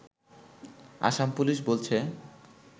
Assam police বলছে